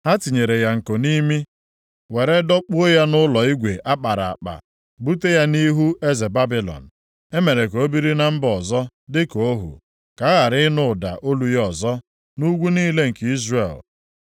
Ha tinyere ya nko nʼimi, were dọkpuo ya nʼụlọ igwe a kpara akpa, bute ya nʼihu eze Babilọn. E mere ka o biri na mba ọzọ dịka ohu, ka a ghara ịnụ ụda olu ya ọzọ nʼugwu niile nke Izrel.